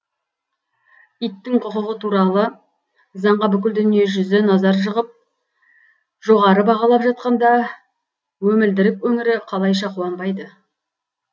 иттің құқығы туралы заңға бүкіл дүние жүзі назар жығып жоғары бағалап жатқанда өмілдірік өңірі қалайша қуанбайды